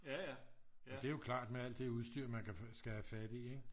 og det er jo klart med alt det udstyr man skal have fat i